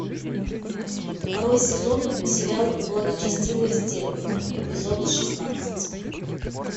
второй сезон сериал благочестивые стервы эпизод шестнадцать